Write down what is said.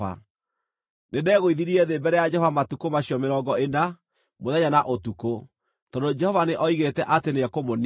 Nĩndegũithirie thĩ mbere ya Jehova matukũ macio mĩrongo ĩna, mũthenya na ũtukũ, tondũ Jehova nĩoigĩte atĩ nĩekũmũniina.